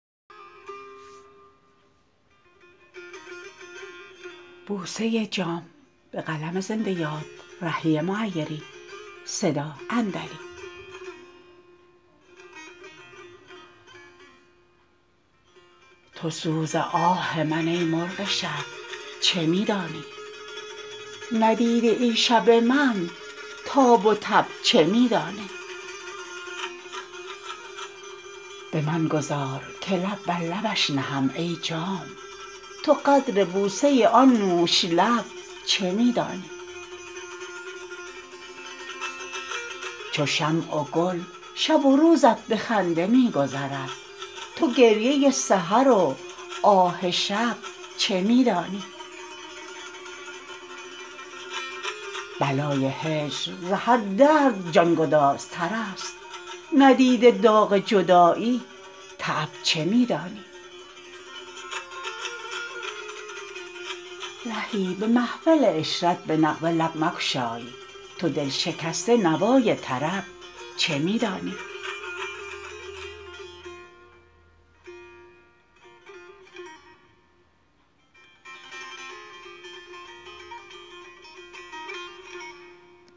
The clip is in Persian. تو سوز آه من ای مرغ شب چه می دانی ندیده ای شب من تاب و تب چه می دانی به من گذار که لب بر لبش نهم ای جام تو قدر بوسه آن نوش لب چه می دانی چو شمع و گل شب و روزت به خنده می گذرد تو گریه سحر و آه شب چه می دانی بلای هجر ز هر درد جانگدازتر است ندیده داغ جدایی تعب چه می دانی رهی به محفل عشرت به نغمه لب مگشای تو دل شکسته نوای طرب چه می دانی